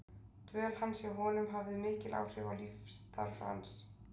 Dvöl hans hjá honum hafði mikil áhrif á lífsstarf hans síðar.